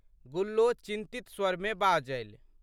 गुल्लो चिंतित स्वरमे बाजलि।